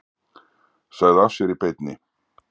Sagði af sér í beinni